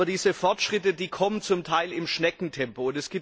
Aber diese Fortschritte kommen zum Teil im Schneckentempo.